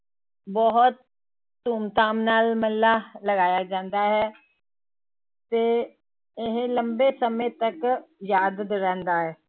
ਬਹੁਤ ਧੂਮ ਧਾਮ ਨਾਲ ਮੇਲਾ ਲਗਾਇਆ ਜਾਂਦਾ ਹੈ ਤੇ ਇਹ ਲੰਬੇ ਸਮੇਂ ਤੱਕ ਯਾਦ ਰਹਿੰਦਾ ਹੈ।